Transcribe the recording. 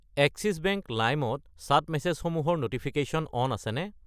Axis Bank Lime ত chat মেছেজসমূহৰ notification on আছেনে?